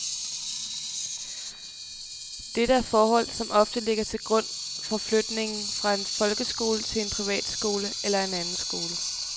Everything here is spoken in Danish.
Dette er forhold som ofte ligger til grund for flytning fra en folkeskole til en privatskole eller en anden skole.